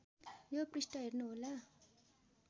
यो पृष्ठ हेर्नुहोला